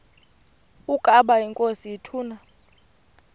ukaba inkosi ituna